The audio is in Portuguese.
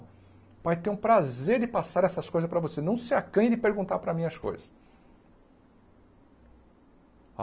O pai tem o prazer de passar essas coisas para você, não se acanhe de perguntar para mim as coisas.